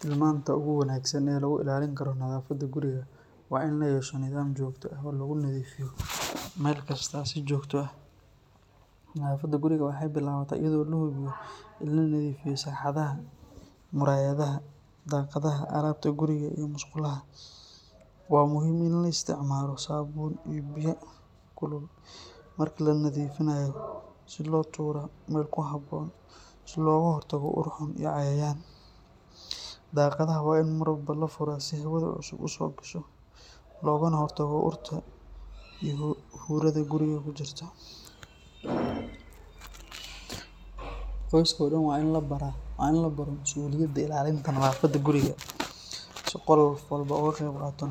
Tilmaanta ugu wanaagsan ee lagu ilaalin karo nadaafadda guriga waa in la yeesho nidaam joogto ah oo lagu nadiifiyo meel kasta si joogto ah. Nadaafadda guriga waxay bilaabataa iyadoo la hubiyo in la nadiifiyo sagxadaha, muraayadaha, daaqadaha, alaabta guriga, iyo musqulaha. Waa muhiim in la isticmaalo saabuun iyo biyo kulul marka la nadiifinayo si loo dilo jeermiska. Dhammaan qashinka waa in si habboon loo ururiyaa loona tuuraa meel ku habboon si looga hortago ur xun iyo cayayaan. Daaqadaha waa in mar walba la furaa si hawada cusub u soo gasho, loogana hortago urta iyo huurada guriga ku jirta. Qoyska oo dhan waa in la baro masuuliyadda ilaalinta nadaafadda guriga, si qof walba uga qayb qaato